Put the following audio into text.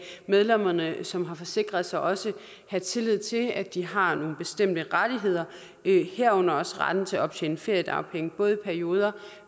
medlemmerne som har forsikret sig også have tillid til at de har nogle bestemte rettigheder herunder også retten til at optjene feriedagpenge både i perioder